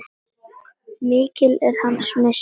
Mikill er hans missir.